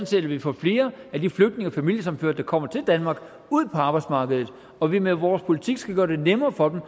set at vi får flere af de flygtninge og familiesammenførte der kommer til danmark ud på arbejdsmarkedet og at vi med vores politik kan gøre det nemmere for dem